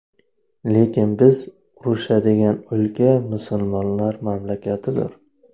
Lekin biz urushadigan o‘lka musulmonlar mamlakatidir.